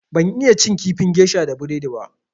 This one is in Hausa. Ban iya cin kifin gesha da burodi ba.